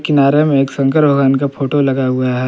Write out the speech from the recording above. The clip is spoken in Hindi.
किनारे में एक शंकर भगवान का फोटो लगा हुआ है।